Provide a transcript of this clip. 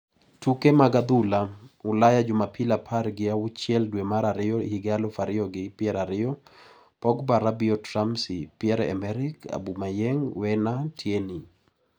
Tuke mag adhula Ulaya Jumapil apar gi auchiel dwe mar ariyo higa aluf ariyo gi pier ariyo: Pogba, Rabiot, Ramsey, Pierre-Emerick Aubameyang, Werner, Tierney